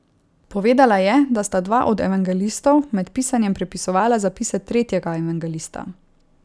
Povedala je, da sta dva od evangelistov med pisanjem prepisovala zapise tretjega evangelista.